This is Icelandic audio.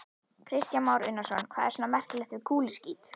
Kristján Már Unnarsson: Hvað er svona merkilegt við kúluskít?